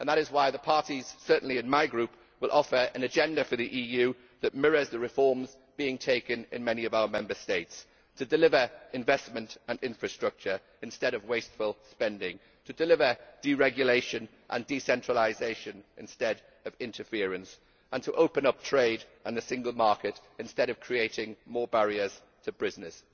That is why the parties, certainly in my group, will offer an agenda for the EU that mirrors the reforms being taken in many of our Member States to deliver investment and infrastructure instead of wasteful spending, to deliver deregulation and decentralisation instead of interference, and to open up trade and the single market instead of creating more barriers to business.